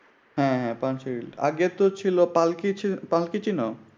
হ্যাঁ হ্যাঁ পানসির গ্রিল। আগে তো ছিল পালকি। পালকি চিন?